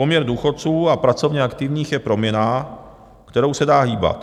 Poměr důchodců a pracovně aktivních je proměnná, kterou se dá hýbat.